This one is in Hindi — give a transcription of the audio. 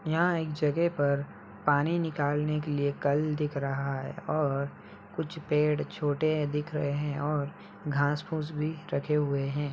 यहाँ एक जगह पर पानी निकालने के लिए कल दिख रहा है और कुछ पेड़ छोटे दिख रहे हैं और घास फुस भी रखें हुए हैं।